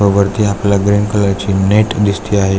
व वरती आपल्याला ग्रीन कलर ची नेट दिसते आहे.